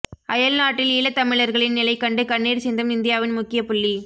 அயல் நாட்டில் ஈழத்தமிழர்களின் நிலை கண்டு கண்ணீர் சிந்தும் இந்தியாவின் முக்கிய புள்ளி